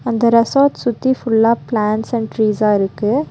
அந்த ரெசார்ட் சுத்தி ஃபுல்லா பிளான்ஸ் அண்ட் ட்ரீஸா இருக்கு.